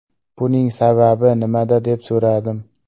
Buning sababi nimada?” deb so‘radim.